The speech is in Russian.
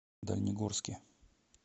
дальнегорске